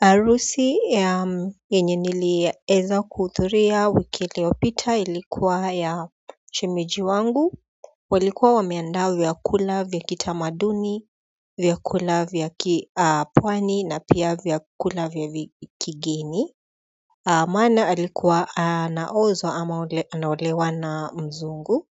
Harusi ya yenye niliweza kuhudhuria wiki iliyopita ilikuwa ya shemeji wangu walikuwa wameanda vyakula vya kitamaduni, vyakula vya kipwani na pia vyakula vya kigeni maana alikuwa anaozwa ama ule anaolewa na mzungu